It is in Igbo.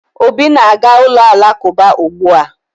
Obi na-aga ụlọ Alakụba ugbua